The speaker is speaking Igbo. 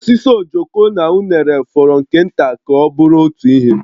Osisi ojoko na unere fọrọ nke nta ka ọ bụrụ otu ihe